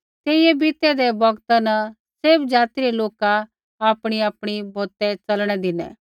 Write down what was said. तेइयै बीतै दै बौगता न सैभ ज़ाति रै लोका आपणीआपणी बौतै च़लणै धिनै